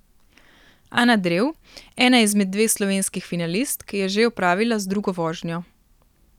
Ana Drev, ena izmed dveh slovenskih finalistk, je že opravila z drugo vožnjo.